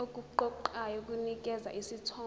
okuqoqayo kunikeza isithombe